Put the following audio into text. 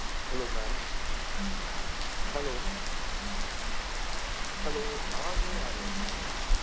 Hello Mam HelloHello ਆਵਾਜ਼ ਨਹੀਂ ਆ ਰਹੀ Mam ਤੁਹਾਡੀ